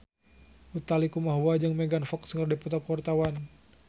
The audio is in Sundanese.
Utha Likumahua jeung Megan Fox keur dipoto ku wartawan